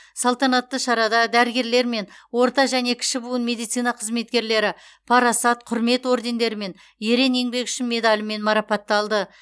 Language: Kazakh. салтанатты шарада дәрігерлер мен орта және кіші буын медицина қызметкерлері парасат құрмет ордендері мен ерен еңбегі үшін медалімен марапатталды